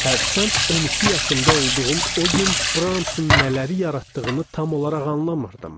Hərçənd 12 yaşımda olduğum o gün Bramson nələri yaratdığını tam olaraq anlamırdım.